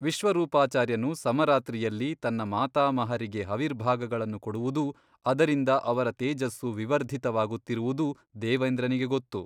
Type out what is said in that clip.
ವಿಶ್ವ ರೂಪಾಚಾರ್ಯನು ಸಮರಾತ್ರಿಯಲ್ಲಿ ತನ್ನ ಮಾತಾಮಹರಿಗೆ ಹವಿರ್ಭಾಗಗಳನ್ನು ಕೊಡುವುದೂ ಅದರಿಂದ ಅವರ ತೇಜಸ್ಸು ವಿವರ್ಧಿತವಾಗುತ್ತಿರುವುದೂ ದೇವೇಂದ್ರನಿಗೆ ಗೊತ್ತು.